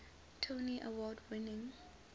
tony award winning